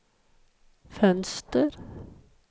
fönster